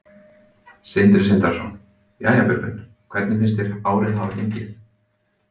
Sindri Sindrason: Jæja, Björgvin, hvernig finnst þér árið hafa gengið?